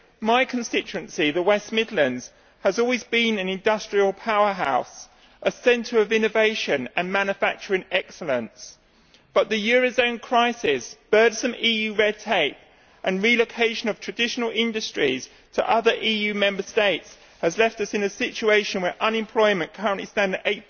My constituency, the West Midlands, has always been an industrial powerhouse, a centre of innovation and manufacturing excellence, but the eurozone crisis, burdensome EU red tape and the relocation of traditional industries to other EU Member States have left us in a situation where unemployment currently stands at